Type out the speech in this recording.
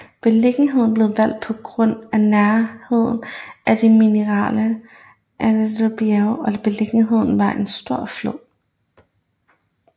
Beliggenheden blev valgt på grund af nærheden til de mineralrige Altajbjerge og beliggenheden ved en stor flod